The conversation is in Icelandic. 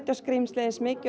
skrímslið eins mikið